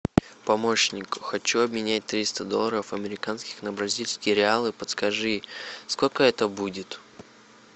помощник хочу обменять триста долларов американских на бразильские реалы подскажи сколько это будет